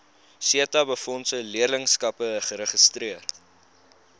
setabefondse leerlingskappe geregistreer